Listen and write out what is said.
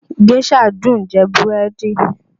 Géșà dùn ún jẹ búrẹ́dì